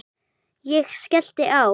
Ég skellti á.